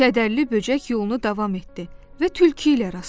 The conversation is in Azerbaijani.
Kədərli böcək yolunu davam etdi və tülkü ilə rastlaşdı.